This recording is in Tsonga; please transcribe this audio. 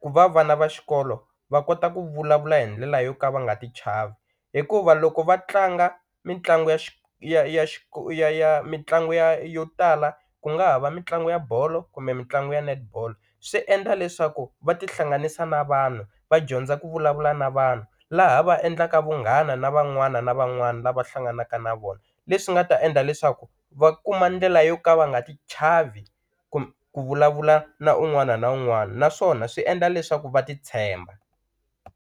ku va vana va xikolo va kota ku vulavula hi ndlela yo ka va nga ti chavi hikuva loko va tlanga mitlangu ya ya ya ya ya mitlangu ya yo tala ku nga ha va mitlangu ya bolo kumbe mitlangu ya netball swi endla leswaku va tihlanganisa na vanhu va dyondza ku vulavula na vanhu laha va endlaka vunghana na van'wana na van'wana lava hlanganaka na vona leswi nga ta endla leswaku va kuma ndlela yo ka va nga ti chavi ku vulavula na un'wana na un'wana naswona swi endla leswaku va ti tshemba.